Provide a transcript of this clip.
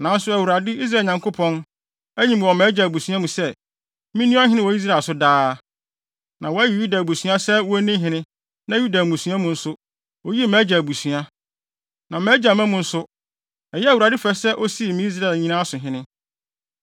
“Nanso Awurade, Israel Nyankopɔn, ayi me wɔ mʼagya abusua mu sɛ, minni ɔhene wɔ Israel so daa. Na wayi Yuda abusuakuw sɛ wonni hene na Yuda mmusua mu nso, oyii mʼagya abusua. Na mʼagya mma mu no nso, ɛyɛɛ Awurade fɛ sɛ osii me Israel nyinaa so hene.